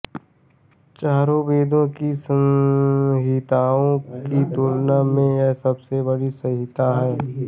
चारों वेदों की संहिताओं की तुलना में यह सबसे बड़ी संहिता है